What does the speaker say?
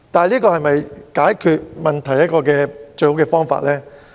這是否解決問題的最好辦法呢？